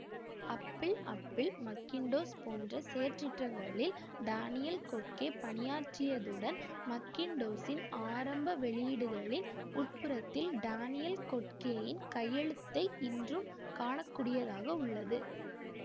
Apple Apple Macintosh போன்ற செயற்றிட்டங்களில் Daniel Kottke பணியாற்றியதுடன் மக்கின்டோசின் ஆரம்ப வெளியீடுகளின் உட்புறத்தில் டானியல் கொட்கேயின் கையெழுத்தைக் இன்றும் காண கூடியதாக உள்ளது